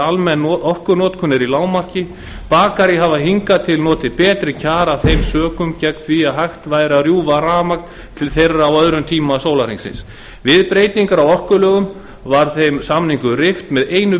almenn orkunotkun er í lágmarki bakarí hafa hingað til notið betri kjara af þeim sökum gegn því að hægt væri að rjúfa rafmagn til þeirra á öðrum tíma sólarhringsins við breytingar á orkulögum var þeim samningum rift með einu